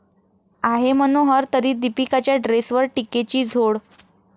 आहे मनोहर तरी...दीपिकाच्या ड्रेसवर टीकेची झोड